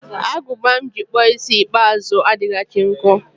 Agụba m ji kpụọ isi ikpeazụ m adịchaghị nkọ